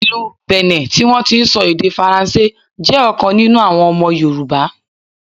Ìlú Bìní tí wọn ti ń sọ èdè Faransé, jẹ́ ọ̀kan nínú àwọn ọmọ Yorùbá.